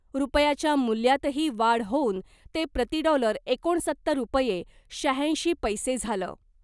रुपयाच्या मूल्यातही वाढ होऊन ते प्रतिडॉलर एकोणसत्तर रुपये शहाऐंशी पैसे झालं .